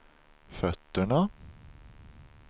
fötterna